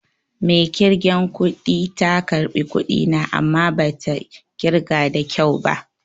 Mai ƙirgen kudi ta ƙarbi kuɗi na amma bata ƙirga da kyau ba